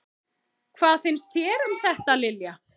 Hvað finnst þér um þetta, Lilja?